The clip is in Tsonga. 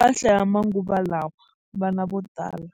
mpahla ya manguva lawa vana vo tala.